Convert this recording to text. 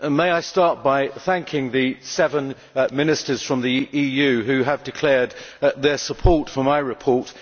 I wish to begin by thanking the seven ministers from the EU who have declared their support for my report.